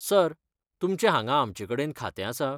Sir, तुमचें हांगा आमचे कडेन खातें आसा?